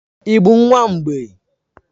Ị bụ nwa mgbei?